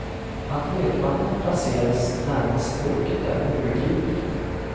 Att lekvagnen placeras närmast loket är obegripligt.